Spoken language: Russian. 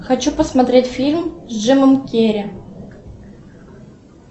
хочу посмотреть фильм с джимом керри